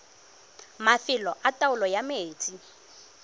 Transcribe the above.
mafelo a taolo ya metsi